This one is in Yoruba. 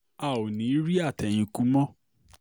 a ò ní í rí àtẹ̀yìnkù mọ́